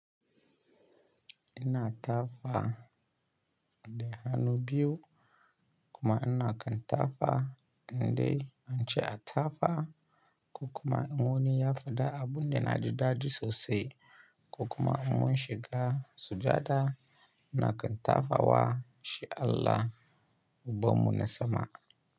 Ina tafa da hannu biyu kuma ina kan tafa inda an ce a tafa, ko kuma in wani ya faɗa abun da na ji daɗi sosai ko kuma in mun shiga sujada ina kan tafa wa shi Allah ubannu na sama.